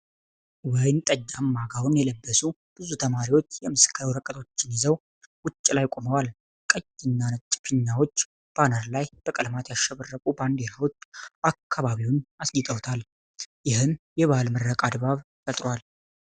ወይንጠጃማ ጋውን የለበሱ ብዙ ተማሪዎች የምስክር ወረቀቶችን ይዘው ውጭ ላይ ቆመዋል። ቀይ እና ነጭ ፊኛዎች፣ ባነር እና በቀለማት ያሸበረቁ ባንዲራዎች አካባቢውን አስጊጠዋል፣ ይህም የበዓል ምረቃ ድባብ ፈጥሯል።